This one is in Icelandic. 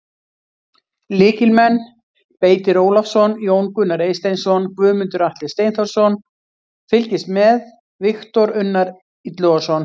Lykilmenn: Beitir Ólafsson, Jón Gunnar Eysteinsson, Guðmundur Atli Steinþórsson: Fylgist með: Viktor Unnar Illugason.